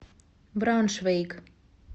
брауншвейг